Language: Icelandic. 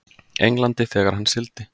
Englandi þegar hann sigldi.